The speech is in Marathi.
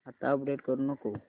आता अपडेट करू नको